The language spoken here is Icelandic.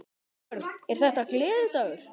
Björn: Er þetta gleðidagur?